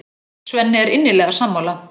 Svenni er innilega sammála.